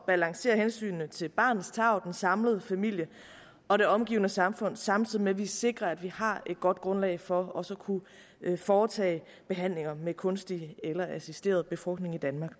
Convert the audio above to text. balancere hensynene til barnets tarv den samlede familie og det omgivende samfund samtidig med at vi sikrer at vi har et godt grundlag for også at kunne foretage behandlinger med kunstig eller assisteret befrugtning i danmark